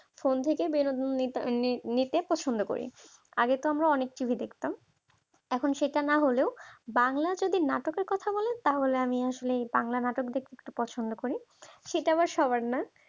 phone থেকে বিনোদন নি নিতে পছন্দ করি আগে তো তোমরা অনেক TV দেখতাম এখন সেটা না হলেও বাংলা যদি নাটকের কথা বলেন তাহলে আমি আসলে বাংলা নাটক দেখতে পছন্দ করি সেটা আবার সবার না